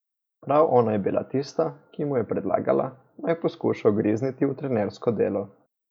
Prav ona je bila tista, ki mu je predlagala, naj poskuša ugrizniti v trenersko delo.